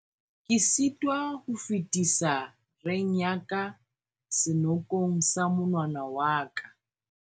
ke sitwa ho fetisa reng ya ka senokong sa monwana wa ka